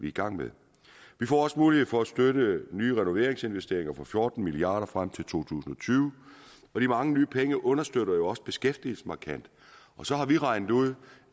i gang med vi får også mulighed for at støtte nye renoveringsinvesteringer for fjorten milliard kroner frem til to tusind og tyve og de mange nye penge understøtter jo også beskæftigelsen markant og så har vi regnet ud